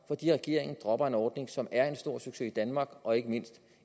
regeringen dropper en ordning som er en stor succes i danmark og ikke mindst